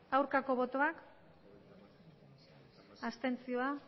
aurkako botoak abstentzioa